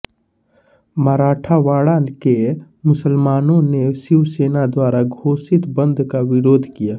मराठवाड़ा के मुसलमानों ने शिवसेना द्वारा घोषित बंद का विरोध किया